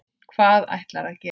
Hvað ætlarðu að gera?